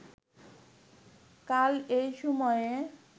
কাল এই সময়ে